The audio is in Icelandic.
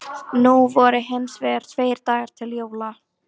Nú voru hins vegar tveir dagar til jóla.